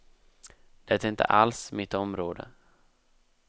Det är inte alls mitt område.